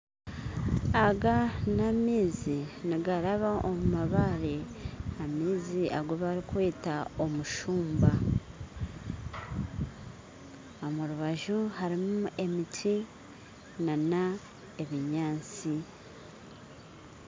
Aga n'amaizi nigaraba omu mabaare amaizi agubarikweta omushuumba omurubaju harimu emiti n'ebinyaatsi